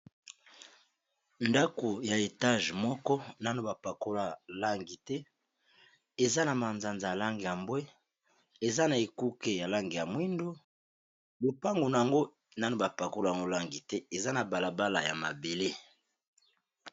ndako ya etage moko nano bapakola langi te eza na manzanza alange yambwe eza na ekuke ya lange ya mwindo lopango na yango nano bapakola lolangi te eza na balabala ya mabele